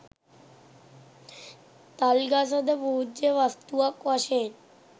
තල් ගස ද පූජ්‍ය වස්තුවක් වශයෙන්